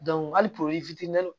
hali